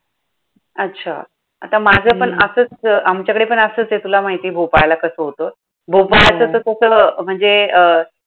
अच्छा! आता हम्म माझं पण असंच आमच्याकडे पण असंचय, तुला माहितीये भोपाळला कसं होतं. हो भोपाळचं तसं म्हणजे अं